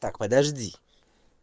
так подожди